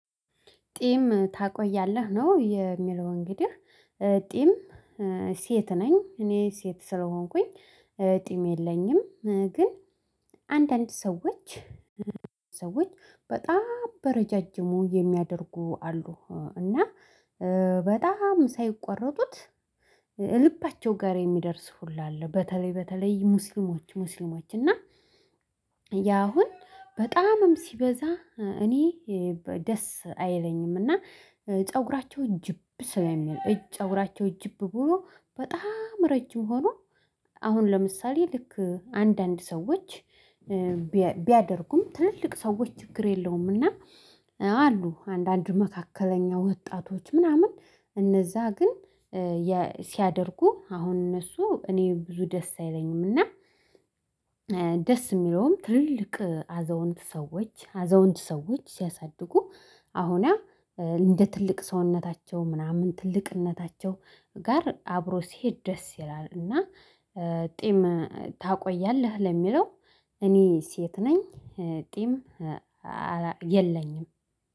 ቂም ታቆያለህ ነው የሚለው እንግዲህ ጢም ሴት ነኝ እኔ ሴት ስለሆንኩኝ ጢም የለኝም። ግን አንዳንድ ሰዎች ሰዎች በጣም በረዣዥሙ የሚያደርጉ አሉ። እና በጣም ሳይቆረጡት ልባቸው ጋር የሚደርስ ሁሉ አለ በተለይ በተለይ ሙስሊሞች ሙስሊሞች እና ያ አሁን በጣምም ሲበዛ እኔ ደስ አይለኝም። እና ፀጉራቸው እጅብ ስለሚል እጅ ፀጉራቸው እጅብ ብሎ በጣም ረጅም ሆኖ። አሁን ለምሳሌ ልክ አንዳንድ ሰዎች ቢያደርጉም ትልልቅ ሰዎች ችግር የለውምና። አሉ አንዳንድ መካከለኛ ወጣቶች ምናምን እነዛ ግን ሲያደርጉ አሁን እነሱ እኔ ብዙ ደስ አይለኝም። እና ደስ የሚለውም ትልልቅ አዛውንት ሰዎች አዛውንት ሰዎች ሲያሳድጉ አሁን ያ እንደ ትልቅ ሰውነታቸው ምናምን ትልቅነታቸው ጋር አብሮ ሲሄድ ደስ ይላል። እና ጢም ታቆያለህ ለሚለው እኔ ሴት ነኝ ጤም የለኝም